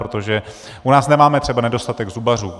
Protože u nás nemáme třeba nedostatek zubařů.